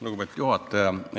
Lugupeetud juhataja!